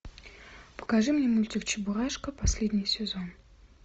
покажи мне мультик чебурашка последний сезон